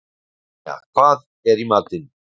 Anja, hvað er í matinn?